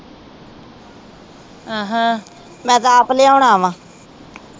ਮੈ ਤਾ ਆਪ ਲੇਓਣਾ ਵਾ